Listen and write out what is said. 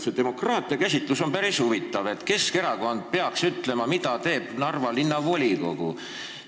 See demokraatiakäsitlus on päris huvitav, et Keskerakond peaks ütlema, mida peab tegema Narva Linnavolikogu.